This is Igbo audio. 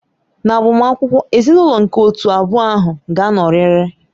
N'agbamakwụkwọ, ezinaụlọ nke otu abụọ ahụ ga-anọrịrị